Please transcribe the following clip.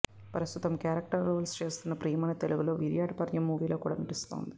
ప్రస్తుతం character roles కూడా చేస్తున్న ప్రియమణి తెలుగులో విరాటపర్వం మూవీలో కూడా నటిస్తుంది